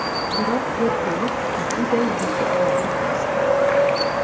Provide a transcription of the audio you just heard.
Biroq go‘rkovlik juda yuki og‘ir kasb.